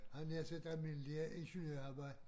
Havde jeg nær sagt det almindelige ingeniørarbejde